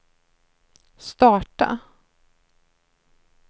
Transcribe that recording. starta